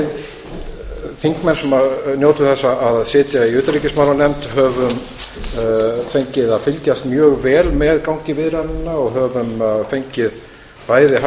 við þingmenn sem njótum þess að sitja í utanríkismálanefnd höfum fengið að fylgjast mjög vel með gangi viðræðnanna og höfum fengið bæði